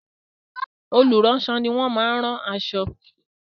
Olùránṣọ ni wọ́n máa rán aṣọ.